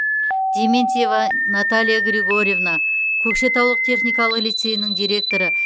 дементьева наталья григорьевна көкшетаулық техникалық лицейінің директоры